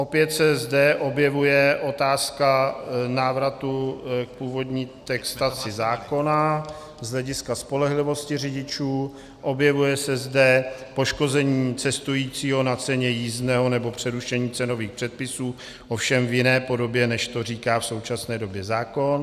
Opět se zde objevuje otázka návratu k původní textaci zákona z hlediska spolehlivosti řidičů, objevuje se zde poškození cestujícího na ceně jízdného nebo porušení cenových předpisů, ovšem v jiné podobě, než to říká v současné době zákon.